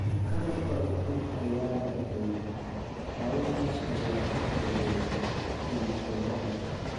"Qalabka cusub ayaa dhashay," Auma ayaa u sheegay iibsadaha.